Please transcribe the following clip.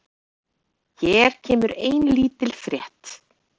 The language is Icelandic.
Hér kemur ein lítil frétt.